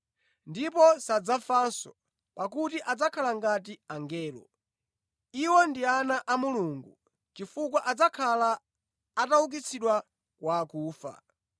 Ndipo sadzafanso, pakuti adzakhala ngati angelo. Iwo ndi ana a Mulungu, chifukwa adzakhala ataukitsidwa kwa akufa.